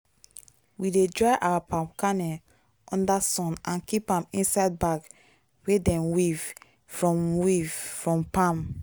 we dey dry our palm kernel under sun and keep am inside bag wey dem weave from weave from palm.